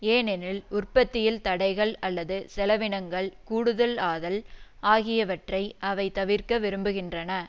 ஏனெனில் உற்பத்தியில் தடைகள் அல்லது செலவினங்கள் கூடுதல் ஆதல் ஆகியவற்றை அவை தவிர்க்க விரும்புகின்றன